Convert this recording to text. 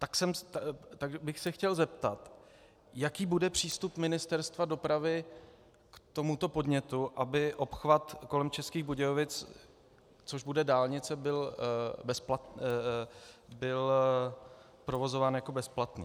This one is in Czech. Tak bych se chtěl zeptat, jaký bude přístup Ministerstva dopravy k tomuto podnětu, aby obchvat kolem Českých Budějovic, což bude dálnice, byl provozován jako bezplatný.